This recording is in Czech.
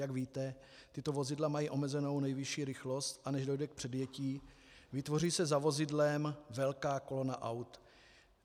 Jak víte, tato vozidla mají omezenou nejvyšší rychlost, a než dojde k předjetí, vytvoří se za vozidlem velká kolona aut.